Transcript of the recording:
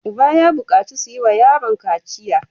Uban ya bukaci su yi wa yaron kaciya!